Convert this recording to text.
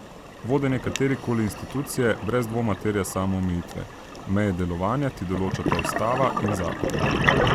Vodenje katere koli institucije brez dvoma terja samoomejitve, meje delovanja ti določata ustava in zakon.